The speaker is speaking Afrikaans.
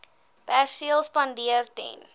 perseel spandeer ten